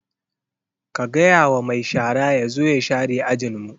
Ka gaya wa mai shara ya zo ya share ajin mu!